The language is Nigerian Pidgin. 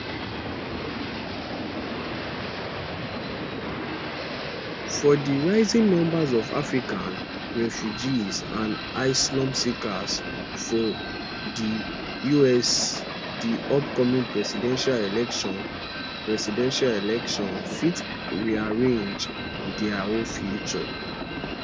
for di rising number of african refugees and asylum seekers for di us di upcoming presidential election presidential election fit rearrange dia whole future